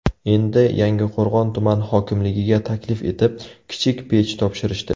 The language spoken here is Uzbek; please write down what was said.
Endi Yangiqo‘rg‘on tuman hokimligiga taklif etib, kichik pech topshirishdi.